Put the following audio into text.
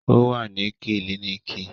O wa ni kílinikì